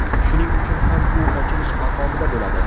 Shuning uchun ham u ochilish maqomida bo‘ladi.